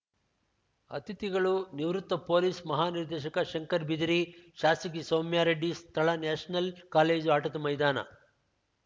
ಅತಿಥಿಗಳು ನಿವೃತ್ತ ಪೊಲೀಸ್‌ ಮಹಾನಿರ್ದೇಶಕ ಶಂಕರ ಬಿದರಿ ಶಾಸಕಿ ಸೌಮ್ಯಾರೆಡ್ಡಿ ಸ್ಥಳ ನ್ಯಾಷನಲ್‌ ಕಾಲೇಜು ಆಟದ ಮೈದಾನ